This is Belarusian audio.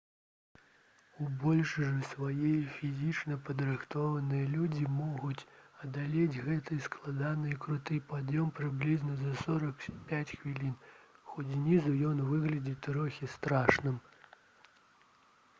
у большасці сваёй фізічна падрыхтаваныя людзі могуць адолець гэты складаны і круты пад'ём прыблізна за 45 хвілін хоць знізу ён выглядае трохі страшным